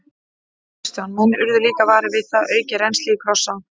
Kristján: Menn urðu líka varir við það, aukið rennsli í Krossá?